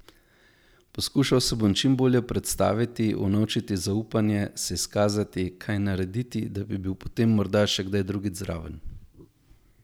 Poskušal se bom čim bolje predstaviti, unovčiti zaupanje, se izkazati, kaj narediti, da bi bil potem morda še kdaj drugič zraven.